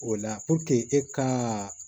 O la e kaa